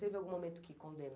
Teve algum momento que condenou?